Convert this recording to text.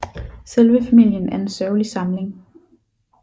Selve famillien er en sørgelig samling